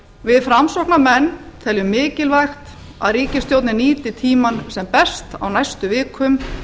við framsóknarmenn teljum mikilvægt að ríkisstjórnin nýti tímann sem best á næstu vikum